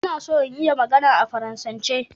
Ina so in iya magana a Faransanci